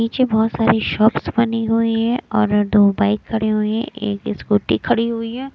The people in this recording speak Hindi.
नीचे बहुत सारी शॉप्स बनी हुई है और दो बाइक खड़े हुए हैं एक स्कूटी खड़ी हुई है।